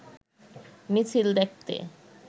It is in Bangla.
মিছিল দেখতে